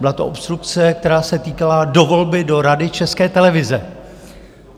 Byla to obstrukce, která se týkala dovolby do Rady České televize.